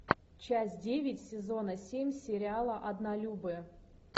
часть девять сезона семь сериала однолюбы